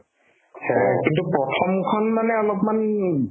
সেয়াই কিন্তু প্ৰথমখন মানে অলপমান